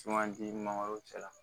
Sumandi mangoro cɛla